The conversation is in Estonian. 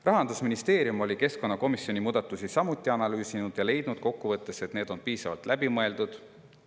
Rahandusministeerium oli keskkonnakomisjoni muudatusi samuti analüüsinud ja leidnud kokkuvõttes, et need on piisavalt läbi mõeldud.